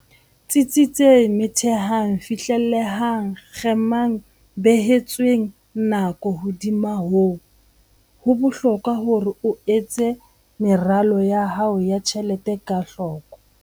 Tsitsitseng Methehang Fihlellehang Kgemang Behetsweng Nako Hodima moo, ho bohlokwa hore o etse meralo ya hao ya ditjhelete ka hloko.